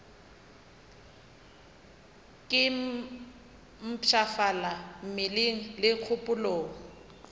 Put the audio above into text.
ke mpshafala mmeleng le kgopolong